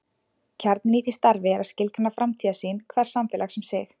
Kjarninn í því starfi er að skilgreina framtíðarsýn hvers samfélags um sig.